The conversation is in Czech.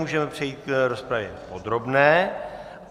Můžeme přejít k rozpravě podrobné.